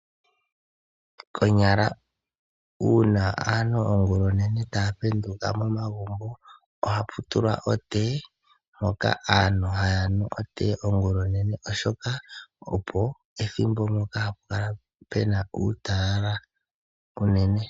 Konyala una aantu ongula onene taya penduka momagumbo ohapu tulwa otee mpoka aantu haya nuu otee ongula onene oshoka olyo ethimbo ndyoka haa ku kala kuna uutalala unene.